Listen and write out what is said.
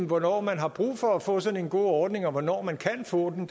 hvornår man har brug for at få sådan en god ordning og hvornår man kan få den